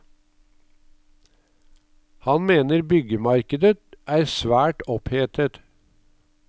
Han mener byggemarkedet er svært opphetet.